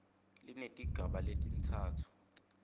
linetigaba letintsatfu a